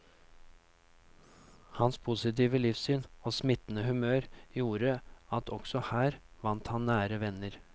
Hans positive livssyn og smittende humør gjorde at også her vant han nære venner.